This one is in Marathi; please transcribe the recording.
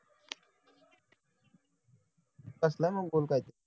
कसला पाहिजे